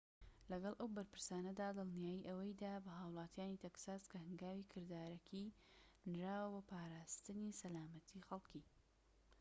لەگەڵ ئەو بەرپرسانەدا دڵنیایی ئەوەی دا بە هاوڵاتیانی تەکساس کە هەنگاوی کردارەکی نراوە بۆ پاراستنی سەلامەتیی خەڵكی